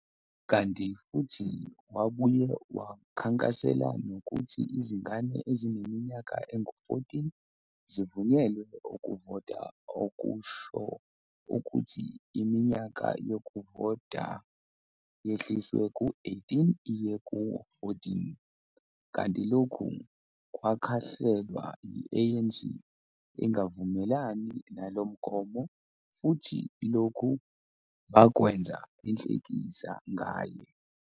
Kanti futhi wabuye wakhankasela nokuthi izingane ezineminyaka engu 14 zivunyelwe ukuvota okusho ukuthi iminyaka yokuvota yehliswe ku-18 iye ku-14, kanti lokhu kwakhahlelwa yi-ANC, ingavumelani nalo mgomo futhi lokhu bakwenza inhlekisa ngaye.